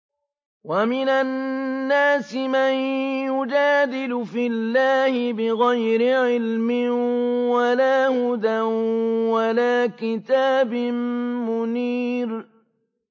وَمِنَ النَّاسِ مَن يُجَادِلُ فِي اللَّهِ بِغَيْرِ عِلْمٍ وَلَا هُدًى وَلَا كِتَابٍ مُّنِيرٍ